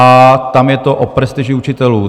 A tam je to o prestiži učitelů.